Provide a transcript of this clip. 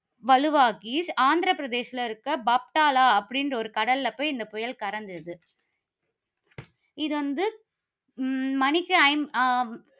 வலுவாகி, ஆந்திரப் பிரதேசத்தில இருக்கிற பாக்தாலா அப்படி என்ற ஒரு கடல்ல போய் இந்த புயல் கடந்தது. இது வந்து உம் மணிக்கு ஐம்~ அஹ்